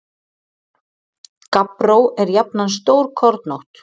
Gabbró er jafnan stórkornótt.